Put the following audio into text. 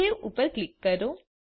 save ઉપર click કરો